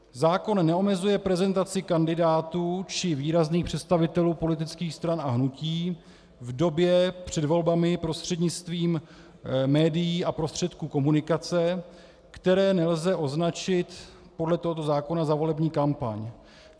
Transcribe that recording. Zákon neomezuje prezentaci kandidátů či výrazných představitelů politických stran a hnutí v době před volbami prostřednictvím médií a prostředků komunikace, které nelze označit podle tohoto zákona za volební kampaň.